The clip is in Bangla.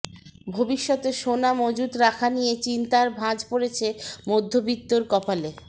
ভবিষ্যতে সোনা মজুত রাখা নিয়ে চিন্তার ভাঁজ পড়েছে মধ্যবিত্তের কপালে